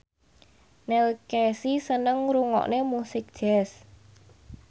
Neil Casey seneng ngrungokne musik jazz